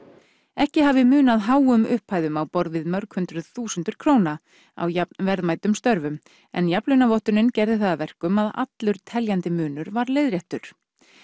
ekki hafi munað háum upphæðum á borð við mörg hundruð þúsundir króna á jafn verðmætum störfum en jafnlaunavottunin gerði það að verkum að allur teljandi munur var leiðréttur